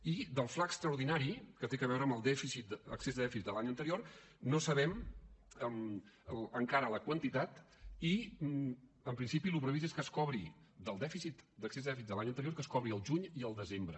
i del fla extraordinari que té a veure amb excés de dèficit de l’any anterior no sabem encara la quantitat i en principi el previst és que es cobri de l’excés de dèficit de l’any anterior al juny i al desembre